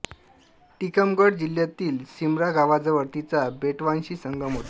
टिकमगड जिल्ह्यातील सिमरा गावाजवळ तिचा बेटवाशी संगम होतो